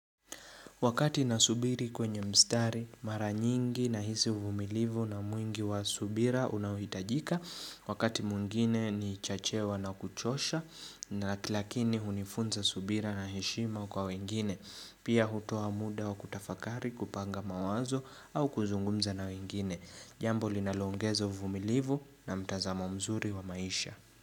Wakati nasubiri kwenye mstari, mara nyingi nahisi uvumilivu na mwingi wa subira unaohitajika. Wakati mwingine ni chachewa na kuchosha na lakini hunifunza subira na heshima kwa wengine. Pia hutoa muda wa kutafakari kupanga mawazo au kuzungumza na wengine. Jambo linalo ongezo uvumilivu na mtazamo mzuri wa maisha.